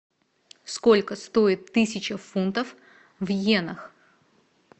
сколько стоит тысяча фунтов в йенах